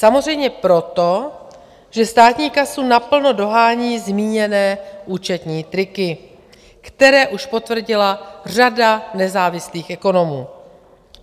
Samozřejmě proto, že státní kasu naplno dohání zmíněné účetní triky, které už potvrdila řada nezávislých ekonomů.